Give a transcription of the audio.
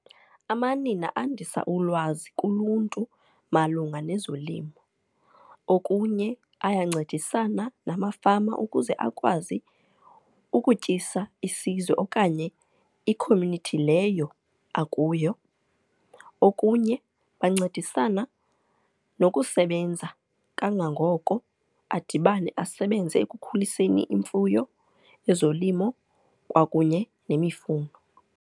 Amanina andisa ulwazi kuluntu malunga nezolimo. Okunye ayancedisana namafama ukuze akwazi ukutyisa isizwe okanye i-community leyo akuyo. Okunye bancedisana nokusebenza kangangoko, adibane asebenze ekukhuliseni imfuyo, ezolimo kwakunye nemifuno.